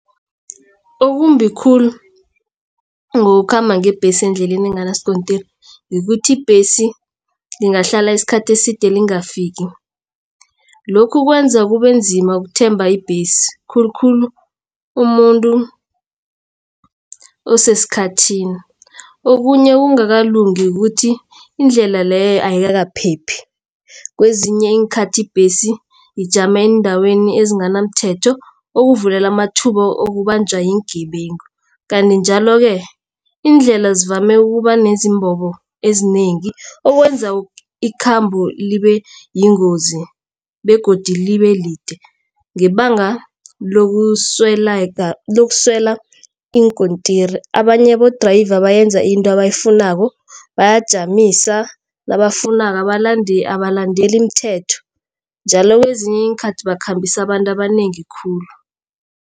Okumbi khulu ngokukhamba ngebhesi endleleni enganasikontiri ukuthi ibhesi ingahlala isikhathi eside lingakafiki. Lokhu kwenza kubenzima ukuthemba ibhesi khulukhulu umuntu osesikhathini. Okunye okungakalungi ukuthi indlela leyo ayikaphephi. Kwezinye iinkhathi ibhesi ijama eendaweni ezinganamthetho okuvulela amathuba okubanjwa iingebengu. Kanti njalo-ke indlela zivame ukuba nezimbobo ezinengi okwenza ikhambo libe yingozi begodu libe lide. Ngebanga lokuswela iinkontiri abanye abo-driver benza into abayifunako bayajamisa nabafunako abalandeli imithetho njalo kwezinye iinkhathi bakhambisa abantu abanengi khulu.